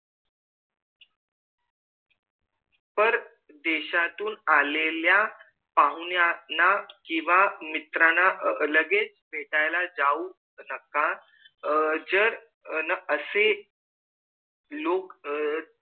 पर देशातून आलेल्या पाहुनयाना कीवा मित्राला लगेच भेटाला जाऊ नका जर असे लोक